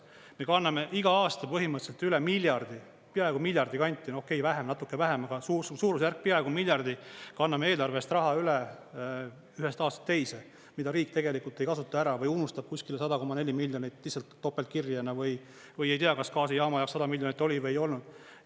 Me kanname iga aasta põhimõtteliselt üle miljardi, peaaegu miljardi kanti, no okei, vähem, natuke vähem, aga suurusjärk peaaegu miljardi kanname eelarvest raha üle ühest aastast teise, mida riik tegelikult ei kasuta ära või unustab kuskil 100,4 miljonit topelt kirja või ei tea, kas gaasijaama jaoks 100 miljonit oli või ei olnud.